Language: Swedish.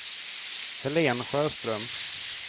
Helene Sjöström